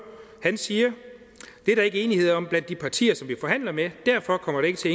han siger det er der ikke enighed om blandt de partier som vi forhandler med derfor kommer det ikke til